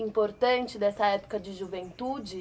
importante dessa época de juventude?